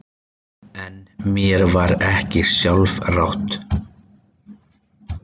En mér var ekki sjálfrátt.